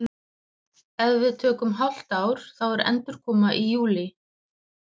Ef við tökum hálft ár þá er endurkoma í júlí.